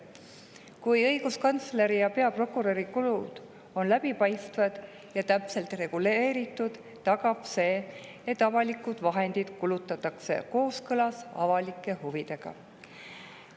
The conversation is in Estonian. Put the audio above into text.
Kui õiguskantsleri ja peaprokuröri kulutused on läbipaistvad ja täpselt reguleeritud, on tagatud, et avalikke vahendeid kulutatakse kooskõlas avalike huvidega.